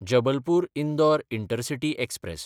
Jabalpur-Indore intercity express